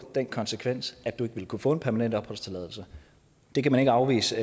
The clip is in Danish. den konsekvens at du ikke vil kunne få en permanent opholdstilladelse det kan man ikke afvise